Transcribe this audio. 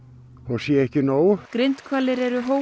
sé ekki nóg grindhvalir eru